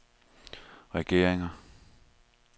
regeringer